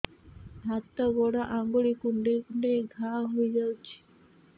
ହାତ ଗୋଡ଼ ଆଂଗୁଳି କୁଂଡେଇ କୁଂଡେଇ ଘାଆ ହୋଇଯାଉଛି